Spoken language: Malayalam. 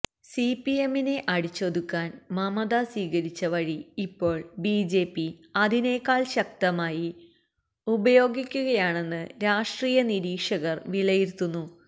സിപിഎമ്മിനെ അടിച്ചൊതുക്കാൻ മമത സ്വീകരിച്ച വഴി ഇപ്പോൾ ബിജെപി അതിനെക്കാൾ ശക്തമായി ഉപയോഗിക്കുകയാണെന്ന് രാഷ്ട്രീയ നിരീക്ഷകർ വിലയിരത്തുന്നു